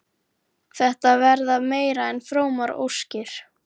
Þetta verða meira en frómar óskir.